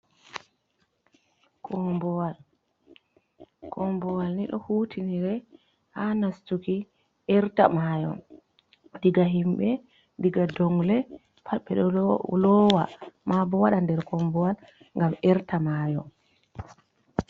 Kombowal, kombowal ni ɗo hutinire ha nastuki erta mayo, diga himɓe diga dongle, pad ɓe ɗo lowa. Ma bo waɗa nder kombowal ngam erta mayo.